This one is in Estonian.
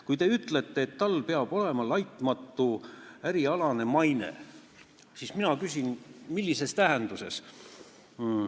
Kui te ütlete, et tal peab olema laitmatu ärialane maine, siis mina küsin, millises tähenduses.